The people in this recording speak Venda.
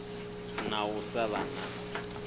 na u sa vha na